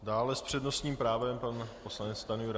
Dále s přednostním právem pan poslanec Stanjura.